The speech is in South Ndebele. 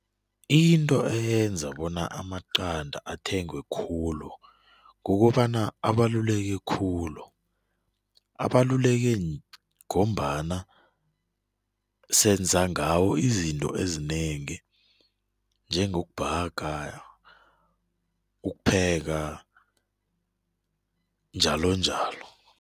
Into eyenza bona amaqanda athengwe khulu kukobana abaluleke khulu, abaluleke ngombana senza ngawo izinto ezinengi njengokubhaga, ukupheka njalonjalo.